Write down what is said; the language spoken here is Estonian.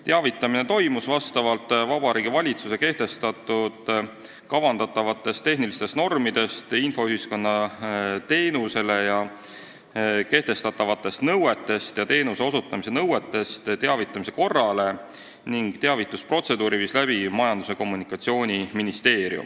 Teavitamine toimus vastavalt Vabariigi Valitsuse kehtestatud kavandatavast tehnilisest normist, infoühiskonna teenusele kehtestatavast nõudest ja teenuse osutamise nõudest teavitamise korrale ning teavitusprotseduuri viis läbi Majandus- ja Kommunikatsiooniministeerium.